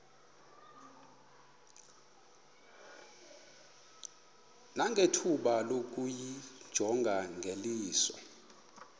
nangethuba lokuyijonga ngeliso